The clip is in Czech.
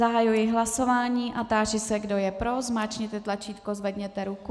Zahajuji hlasování a táži se, kdo je pro, zmáčkněte tlačítko, zvedněte ruku.